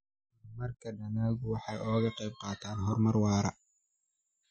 Horumarka dalaggu waxa uu ka qayb qaataa horumar waara.